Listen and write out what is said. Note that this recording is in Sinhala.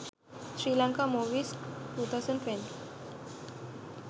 sri lanka movies 2012